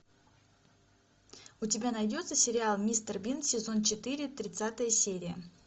у тебя найдется сериал мистер бин сезон четыре тридцатая серия